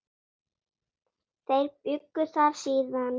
Þeir bjuggu þar síðan.